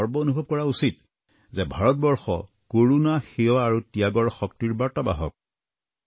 আমি গৰ্ব অনুভৱ কৰা উচিত যে ভাৰতবৰ্ষ কৰুণা সেৱা আৰু ত্যাদৰ বাৰ্তাবাহক